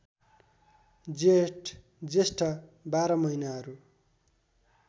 जेठ जेष्ठ १२ महिनाहरू